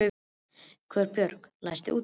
Guðbjörg, læstu útidyrunum.